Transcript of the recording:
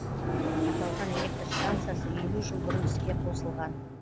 аталған электр станциясы елу жыл бұрын іске қосылған